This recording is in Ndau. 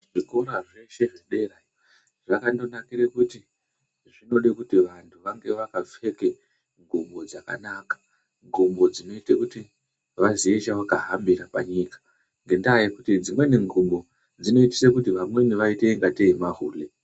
Zvikora zveshe zvedera zvakandonakire kuti zvinode kuti vantu vange vakapfeka ngubo dzakanaka, ngubo dzinoite kuti vaziye chavakahambire panyika ngenda yekuti dzimweni ngubo dzinoitise kuti vamweni vaite ingatei mahule.